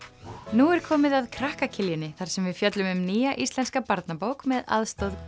nú er komið að krakka þar sem við fjöllum um nýja íslenska barnabók með aðstoð